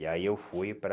E aí eu fui para...